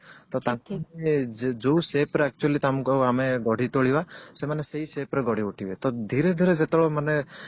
ତ ତାଙ୍କୁ ଯୋଉ shape ରେ actually ତମକୁ ଆମେ ଗଢି ତୋଳିବା ସେମାନେ ସେଇ shape ରେ ଗଢିଉଠିବେ ତ ଧିରେ ଧୀରେ ଯେତେବେଳେ ମାନେ